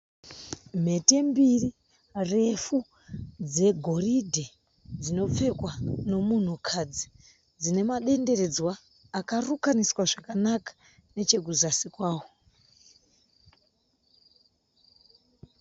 Mhete mbiri refu dzegoridhe dzinopfekwa nomunhukadzi. Dzine madenderedzwa akarukaniswa zvakanaka nechekuzasi kwao.